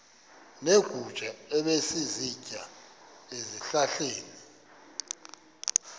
neegusha ebezisitya ezihlahleni